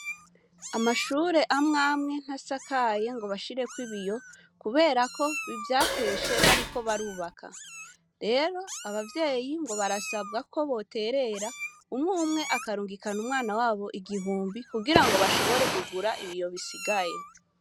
Amashure amwe amwe ntasakaye ngo bashireko ibiyo kuberako vyakeshe bariko barubaka. Rero abavyeyi ngo barasabwa ko boterera, umwe umwe akarungikana umwana wabo igihumbi kugirango bashobore kugura ibiyo bisigaye.